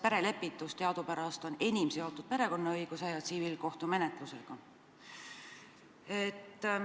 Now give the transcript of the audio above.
Perelepitus on teadupärast enim seotud perekonnaõiguse ja tsiviilkohtumenetlusega.